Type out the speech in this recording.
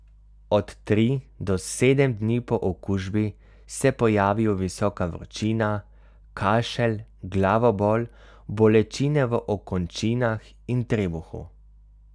Od tri do sedem dni po okužbi se pojavijo visoka vročina, kašelj, glavobol, bolečine v okončinah in trebuhu.